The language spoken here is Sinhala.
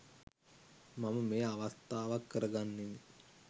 මම මෙය අවස්ථාවක් කර ගන්නෙමි